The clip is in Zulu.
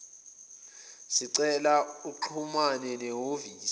sicela uxhumane nehhovisi